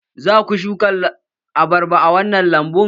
Za ku shuka abarba a wannan lambun?